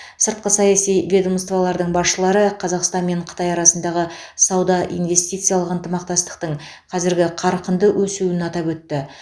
сыртқы саяси ведомстволардың басшылары қазақстан мен қытай арасындағы сауда инвестициялық ынтымақтастықтың қазіргі қарқынды өсуін атап өтті